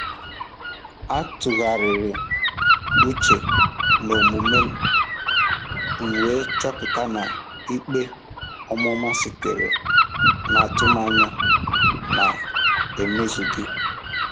A tụgharịrị uche n'omume m wee chọpụta na ikpe ọmụma sitere n'atụmanya na-emezughị.